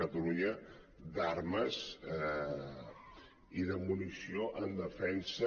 catalunya d’armes i de munició en defensa